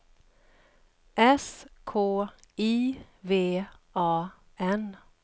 S K I V A N